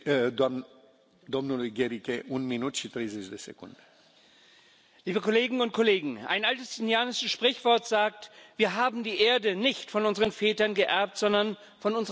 Herr Präsident, liebe Kolleginnen und Kollegen! Ein altes indianisches Sprichwort sagt Wir haben die Erde nicht von unseren Vätern geerbt, sondern von unseren Kindern geliehen.